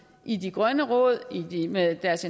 i de grønne råd med deres